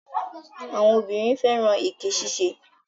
Àwọn obìnrin fẹ́ràn èké ṣiṣẹ́.